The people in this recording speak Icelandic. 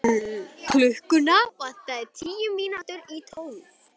Hún hafði ekki á öðru að byggja.